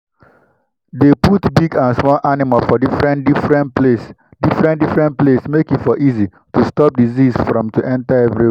dey put big and small animal for different different place different different place make e for easy to stop disease from to enter everywhere